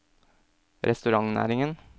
restaurantnæringen